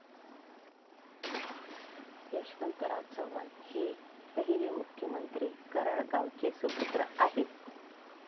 यशवंतराव चव्हाण हे पहिले मुख्यमंत्री कराड गावाचे सुपुत्र आहेत.